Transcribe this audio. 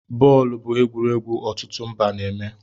Bọọlụ bụ egwuregwu ọtụtụ mba na-eme